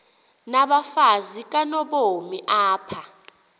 nabafazi kanobomi apha